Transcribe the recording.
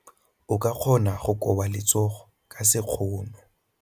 O ka kgona go koba letsogo ka sekgono.